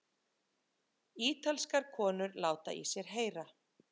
Ítalskar konur láta í sér heyra